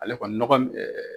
Ale kɔni nɔgɔ ni ɛɛ